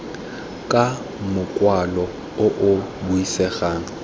ka mokwalo o o buisegang